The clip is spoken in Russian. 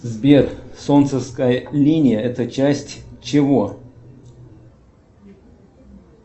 сбер солнцевская линия это часть чего